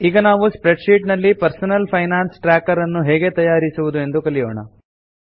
ಈಗ ನಾವು spreadsheet ನಲ್ಲಿ ಪರ್ಸನಲ್ ಫೈನಾನ್ಸ್ ಟ್ರ್ಯಾಕರ್ ನ್ನು ಹೇಗೆ ತಯಾರಿಸುವುದು ಎಂದು ಕಲಿಯೋಣ